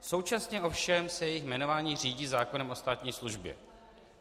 Současně ovšem se jejich jmenování řídí zákonem o státní službě.